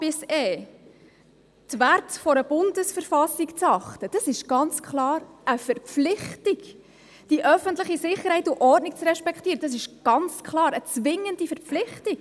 Die Werte einer BV zu achten, ist ganz klar eine Verpflichtung, die öffentliche Sicherheit und Ordnung zu respektieren ist ganz klar eine zwingende Verpflichtung.